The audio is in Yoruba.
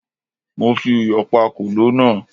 Mo fi iyọ̀ pá kòló náà